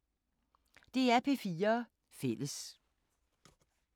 DR P4 Fælles